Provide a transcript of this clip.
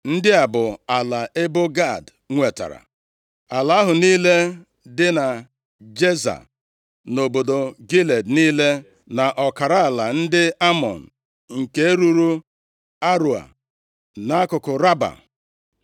Ndị a bụ ala ebo Gad nwetara: ala ahụ niile dị na Jeza, na obodo Gilead niile, na ọkara ala ndị Amọn nke ruru Areoa, nʼakụkụ Raba.